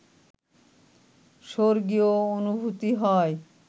স্বর্গীয় অনুভূতি হয়